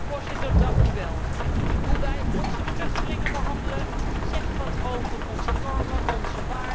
Hoe wij onze vluchtelingen behandelen zegt wat over onze normen, onze waarden, onze samenleving.